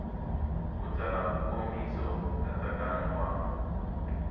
u tsala nkomiso nkatsakanyo wa